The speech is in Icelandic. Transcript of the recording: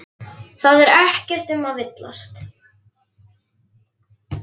Það er ekkert um að villast.